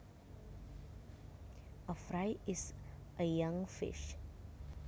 A fry is a young fish